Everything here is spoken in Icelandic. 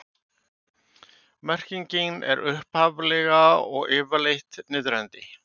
merkingin er upphaflega og yfirleitt niðrandi